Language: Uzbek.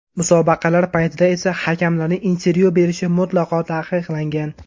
Musobaqalar paytida esa hakamlarning intervyu berishi mutlaqo taqiqlangan.